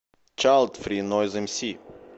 чайлдфри нойз эмси